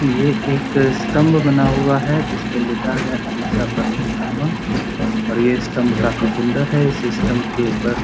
ये एक स्तम्ब बना हुआ है जिसपे लिखा है अहिंसा परमो धर्मः और ये स्तम्ब काफी सुन्दर है इस स्तम्ब के ऊपर --